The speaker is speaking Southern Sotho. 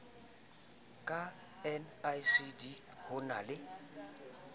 ka nicd ho na le